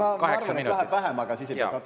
Ma arvan, et läheb vähem, aga siis ei pea katkestama …